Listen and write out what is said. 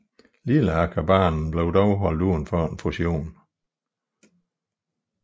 Lilleakerbanen blev dog holdt uden for fusionen